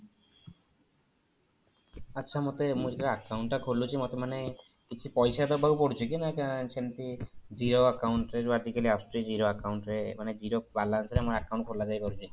ଆଚ୍ଛା ମତେ ମୁଁ ଯେତେବେଳେ account ଟା ଖୋଲୁଛି ମତେ ମାନେ କିଛି ପଇସା ଦବାକୁ ପଡୁଛି କି ନାଇଁ ସେମିତି କିଛି zero account ରେ ଯୋଉ ଆଜି କାଲି ଆସୁଛି zero account ରେ ମାନେ zero balance ରେ ଆମ account ଖୋଲା ଯାଇ ପାରୁଛି